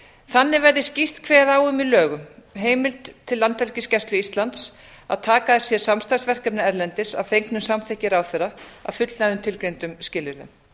þannig verði skýrt kveðið á um í lögum heimild landhelgisgæslu íslands til að taka að sér samstarfsverkefni erlendis að fengnu samþykki ráðherra að fullnægðum tilgreindum skilyrðum